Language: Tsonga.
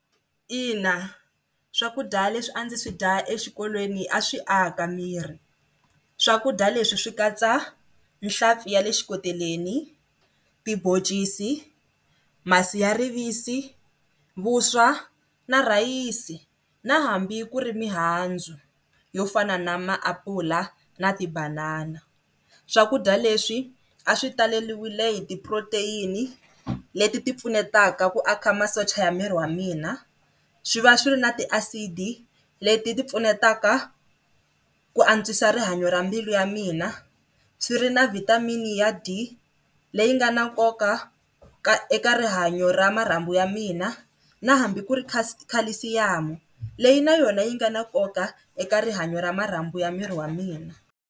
Ina, swakudya leswi a ndzi swi dya exikolweni a swi aka miri swakudya leswi swi katsa nhlampfi ya le xikoteleni, tiboncisi, masi ya rivisi, vuswa na rhayisi na hambi ku ri mihandzu yo fana na maapula na tibanana. Swakudya leswi a swi taleriwile hi ti-protein-i leti ti pfunetaka ku a ka masocha ya miri wa mina swi va swi ri na ti acid leti ti pfunetaka ku antswisa rihanyo ra mbilu ya mina, swi ri na vitamin-i ya D leyi nga na nkoka ka eka rihanyo ra marhambu ya mina na hambi ku ri calcium leyi na yona yi nga na nkoka eka rihanyo ra marhambu ya miri wa mina.